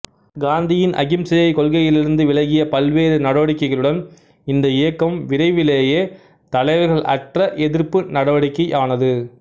காந்தியின் அஹிம்சை கொள்கையிலிருந்து விலகிய பல்வேறு நடவடிக்கைகளுடன் இந்த இயக்கம் விரைவிலேயே தலைவர்களற்ற எதிர்ப்பு நடவடிக்கையானது